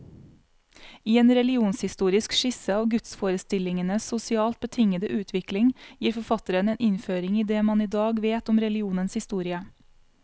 I en religionshistorisk skisse av gudsforestillingenes sosialt betingede utvikling, gir forfatteren en innføring i det man i dag vet om religionens historie.